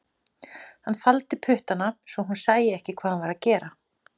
Hann faldi puttana svo hún sæi ekki hvað hann var að gera